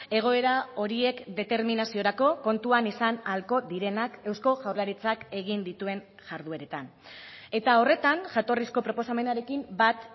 egoera horiek determinaziorako kontuan izan ahalko direnak eusko jaurlaritzak egin dituen jardueretan eta horretan jatorrizko proposamenarekin bat